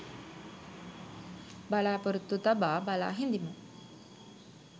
බලාපොරොත්තු තබා බලා හිඳිමු.